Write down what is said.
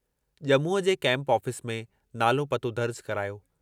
जमूअ जे camp office में नालो पतो दर्ज करायो।